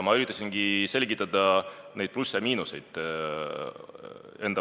Ma üritasingi selgitada neid plusse ja miinuseid.